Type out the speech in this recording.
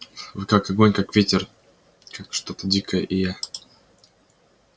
вы как огонь как ветер как что-то дикое и я